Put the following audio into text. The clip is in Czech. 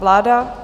Vláda...